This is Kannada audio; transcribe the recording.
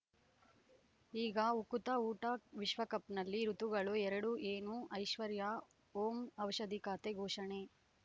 ಈಗ ಉಕುತ ಊಟ ವಿಶ್ವಕಪ್‌ನಲ್ಲಿ ಋತುಗಳು ಎರಡು ಏನು ಐಶ್ವರ್ಯಾ ಓಂ ಔಷಧಿ ಖಾತೆ ಘೋಷಣೆ